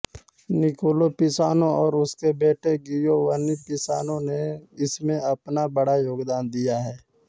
Nicola Pisano और उसके बेटे गियोवन्नि पिसानो ने इसमें अपना बड़ा योगदान दिया हैं